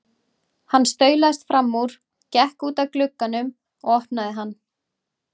Hann staulaðist fram úr, gekk út að glugganum og opnaði hann.